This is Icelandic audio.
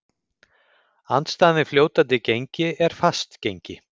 Andstaðan við fljótandi gengi er fast gengi.